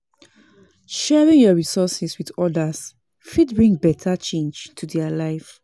Sharing yur resources with odas fit bring beta change to their lives.